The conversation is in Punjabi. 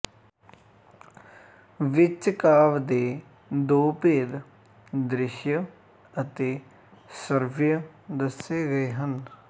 ਵਿੱਚ ਕਾਵਿ ਦੇ ਦੋ ਭੇਦ ਦ੍ਰਿਸ਼ਯ ਅਤੇ ਸ਼੍ਰਵਯ ਦੱਸੇ ਗਏ ਹਨ